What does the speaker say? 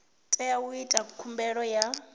tea u ita khumbelo ya